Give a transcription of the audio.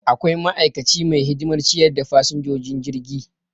Akwai ma'aikaci mai hidimar ciyar da fasinjojin jirgi